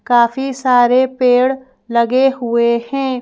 काफी सारे पेड़ लगे हुए हैं।